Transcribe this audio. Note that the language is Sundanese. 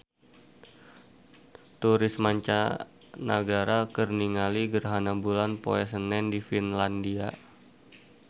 Turis mancanagara keur ningali gerhana bulan poe Senen di Finlandia